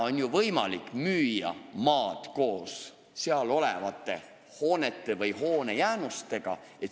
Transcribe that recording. On ju võimalik müüa maad koos seal olevate hoonete või hoonejäänustega.